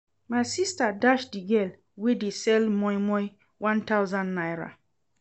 My sister dash the girl wey dey sell moimoi one thousand naira